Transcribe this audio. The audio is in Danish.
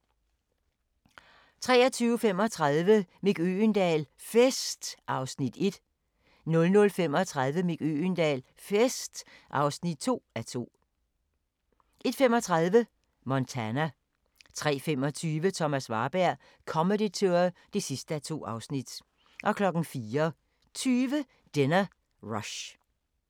23:35: Mick Øgendahl - FEST (1:2) 00:35: Mick Øgendahl - FEST (2:2) 01:35: Montana 03:25: Thomas Warberg - Comedy Tour (2:2) 04:20: Dinner Rush